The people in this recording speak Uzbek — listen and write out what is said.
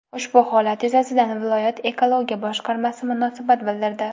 Ushbu holat yuzasidan viloyat Ekologiya boshqarmasi munosabat bildirdi.